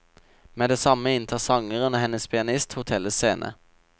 Med det samme inntar sangeren og hennes pianist hotellets scene.